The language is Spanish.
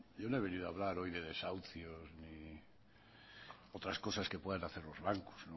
yo no he venido a hablar hoy de desahucios ni otras cosas que puedan hacer los bancos